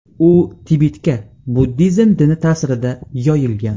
U Tibetga buddizm dini ta’sirida yoyilgan.